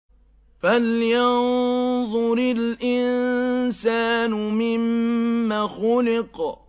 فَلْيَنظُرِ الْإِنسَانُ مِمَّ خُلِقَ